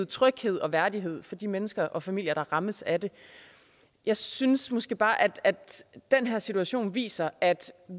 tryghed og værdighed for de mennesker og familier der rammes af det jeg synes måske bare at at den her situation viser at